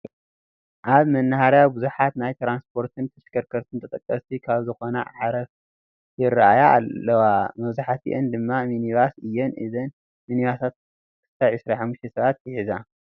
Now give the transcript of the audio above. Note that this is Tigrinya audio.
ኣብ መናሃርያ ብዙሓት ናይ ትራንስፖርትን ተሽከርከርትን ተጠቀስቲ ካብ ዝኾና ኣዕሪፈን ይራኣያ ኣለዋ፡፡ መብዛሕትአን ድማ ሚኒባስ እየን፡፡ እዘን ሚኒባሳት ክሳብ 25 ሰባት ይሕዛ፡፡